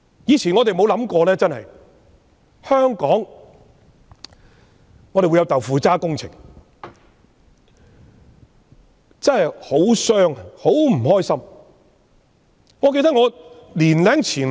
以前我們從沒想過香港會有"豆腐渣"工程；實情真的令人傷心。